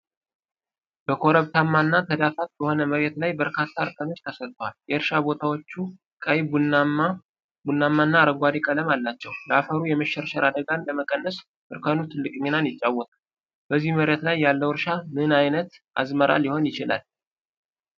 በኮረብታማና ተዳፋት በሆነ መሬት ላይ በርካታ እርከኖች ተሰርተዋል። የእርሻ ቦታዎቹ ቀይ፣ ቡናማና አረንጓዴ ቀለም አላቸው፣ ለአፈሩ የመሸርሸር አደጋን ለመቀነስ እርከኑ ትልቅ ሚናን ይጫወታል፤ በዚህ መሬት ላይ ያለው እርሻ ምን ዓይነት አዝመራ ሊሆን ይችላል?